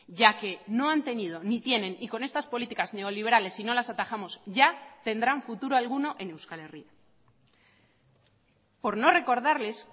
ya que no han tenido ni tienen y con estas políticas neoliberales si no las atajamos ya tendrán futuro alguno en euskal herria por no recordarles